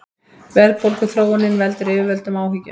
Verðbólguþróunin veldur yfirvöldum áhyggjum